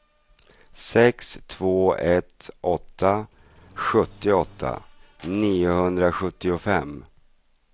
sex två ett åtta sjuttioåtta niohundrasjuttiofem